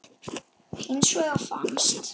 Hins vegar fannst